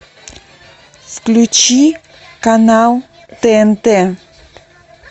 включи канал тнт